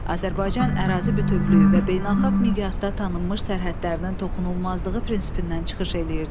Azərbaycan ərazi bütövlüyü və beynəlxalq miqyasda tanınmış sərhədlərinin toxunulmazlığı prinsipindən çıxış edirdi.